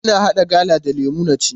Ina haɗa gala da lemu na ci.